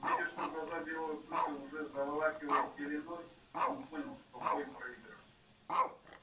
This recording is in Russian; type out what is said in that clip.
увидев что глаза белого клыка уже заволакивает пеленой он понял что бой проигран